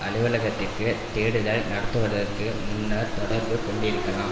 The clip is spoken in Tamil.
அலுவலகத்திற்கு தேடுதல் நடத்துவதற்கு முன்னர் தொடர்பு கொண்டிருக்கலாம்